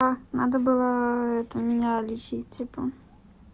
а надо было это меня лечить типа